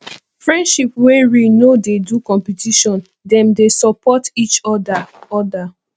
friendship wey real no dey do competition dem dey support each oda oda